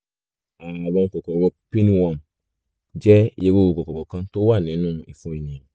ààrùn kòkòrò pinworm jẹ́ irú kòkòrò kan tó wà nínú ìfun ènìyàn